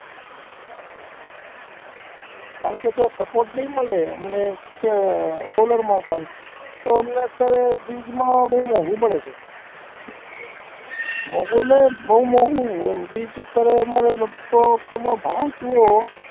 કારણ કે જો આ support નઈ મળે અમને કે solar માં પણ તો અમને અત્યારે બીજમાં બોવ મોંઘુ પડે છે મોંઘુ એટલે બોવ મોંઘુ એમ બીજ અત્યારે અમારે લગભગ તમે ભાવ જુઓ